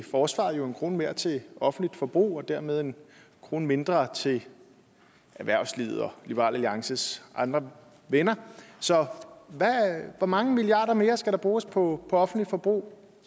forsvaret jo en kroner mere til offentligt forbrug og dermed en kroner mindre til erhvervslivet og liberal alliances andre venner så hvor mange milliarder mere skal der bruges på offentligt forbrug